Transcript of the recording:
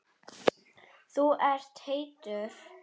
Þú ert heitur.